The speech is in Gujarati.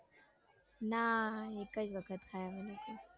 ના એક જ વખત ખાઈ અમે લોકોએ